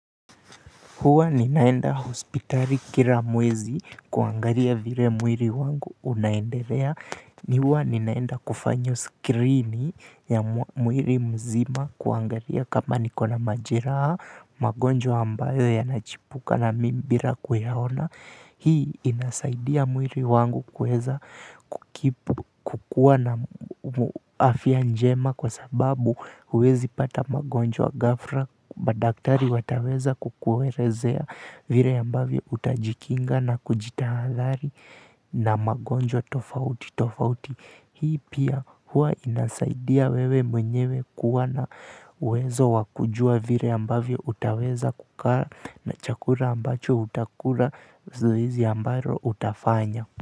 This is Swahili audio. Huwa ninaenda hospitali kila mwezi kuangalia vile mwili wangu unaendelea ni huwa ninaenda kufanya skirini ya mwililmzima kuangalia kama niko na majeraha. Magonjwa ambayo yana chipuka na mimi bia kuyaona. Hii inasaidia mwili wangu kweza kukua na afya njema kwa sababu huwezi pata magonjwa ghafla. Vile ambavyo utaji kinga na kujitahadhari na magonjwa tofauti tofauti hii pia hua inasaidia wewe mwenyewe kuwa na uwezo wakujua vile ambavyo utaweza kukaa na chakula ambacho utakula zoezi ambalo utafanya.